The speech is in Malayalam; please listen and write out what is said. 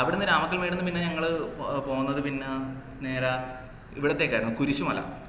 അവിടെന്ന് രാമക്കൽമേട്ന്ന് പിന്നെ ഞങ്ങള് പോന്നത് പിന്നെ നേരെ ഇവിടത്തേക്കായിരുന്നു കുരിശുമല